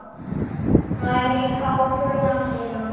Nær í kápuna sína.